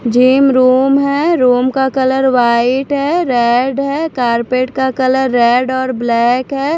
Gym room है room का colour white है रेड है कारपेट का कलर रेड और ब्लैक है।